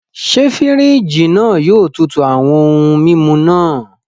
Ṣe firiji náà yóò tútù awọn ohùn mímú náà?